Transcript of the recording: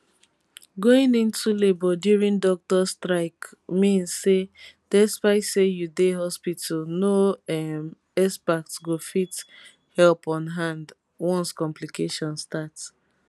going into labour during doctors strike mean say despite say you dey hospital no um expert go fit help on hand once complication start